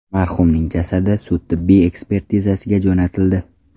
Marhumning jasadi sud tibbiy ekspertizasiga jo‘natildi.